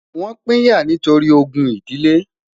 wón pínyà nítorí ògún idile